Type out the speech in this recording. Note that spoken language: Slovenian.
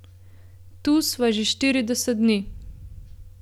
Tu sva že štirideset dni.